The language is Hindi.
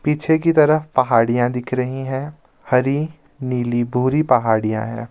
पीछे की तरफ पहाड़ियां दिख रही हैं हरी नीली बूरी पहाड़ियां हैं.